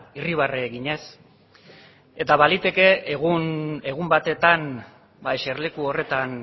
irribarre eginez eta baliteke egun batetan ba eserleku horretan